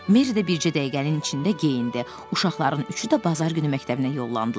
Merri də bircə dəqiqənin içində geyindi, uşaqların üçü də bazar günü məktəbinə yollandılar.